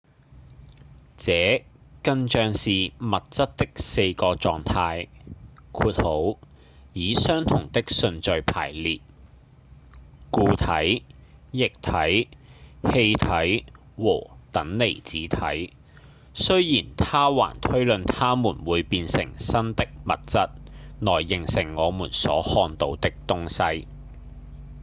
這更像是物質的4個狀態以相同的順序排列：固體、液體、氣體和等離子體雖然他還推論它們會變成新的物質來形成我們所看到的東西